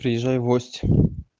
приезжай в гости